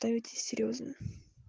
то это серьёзно